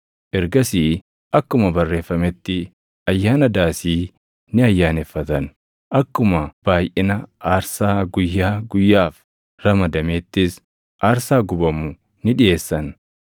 Ergasii akkuma barreeffametti Ayyaana Daasii ni ayyaaneffatan; akkuma baayʼina aarsaa guyyaa guyyaaf ramadameettis aarsaa gubamu ni dhiʼeessan.